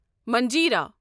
منجرا